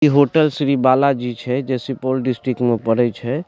इ होटल श्री बालाजी छै जे सुपौल डिस्ट्रिक्ट में पड़य छै।